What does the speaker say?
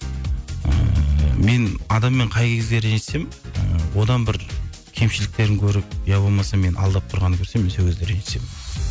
ыыы мен адаммен қай кезде ренжісемін ы одан бір кемшіліктерін көріп иә болмаса мені алдап тұрғанын көрсем мен сол кезде ренжісемін